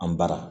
An bara